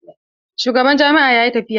Shugaban jami'a yayi tafiya.